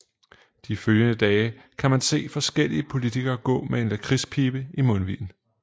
De følgende dage kan man se forskellige politikere gå med en lakridspibe i mundvigen